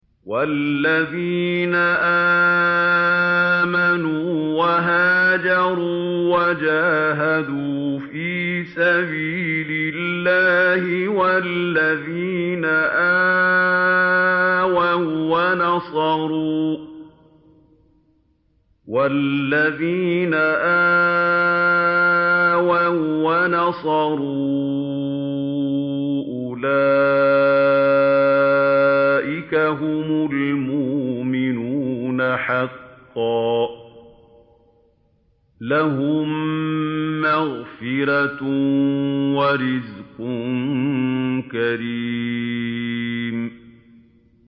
وَالَّذِينَ آمَنُوا وَهَاجَرُوا وَجَاهَدُوا فِي سَبِيلِ اللَّهِ وَالَّذِينَ آوَوا وَّنَصَرُوا أُولَٰئِكَ هُمُ الْمُؤْمِنُونَ حَقًّا ۚ لَّهُم مَّغْفِرَةٌ وَرِزْقٌ كَرِيمٌ